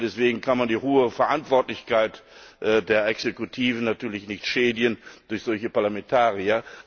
Deswegen kann man die hohe Verantwortlichkeit der Exekutive natürlich nicht schädigen durch solche Parlamentarier.